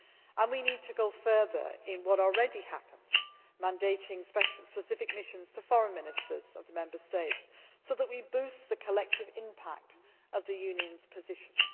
And we need to go further in what already happens, mandating specific missions to foreign ministers of the Member States, so that we boost the collective impact of the Union's positions.